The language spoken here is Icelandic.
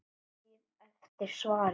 Ég bíð eftir svari.